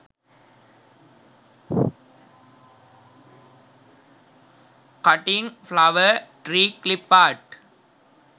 cutting flower tree clipart